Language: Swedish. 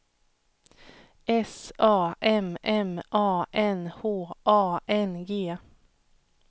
S A M M A N H A N G